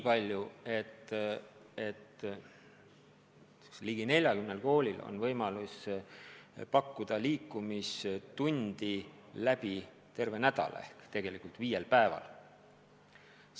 Ligi 40 koolil on võimalus pakkuda liikumistundi läbi terve nädala ehk viiel päeval.